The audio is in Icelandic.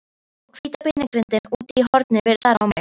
Og hvíta beinagrindin úti í horni virtist stara á mig.